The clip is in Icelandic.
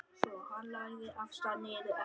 Svo hann lagði af stað niður eftir.